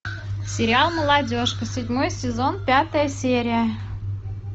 сериал молодежка седьмой сезон пятая серия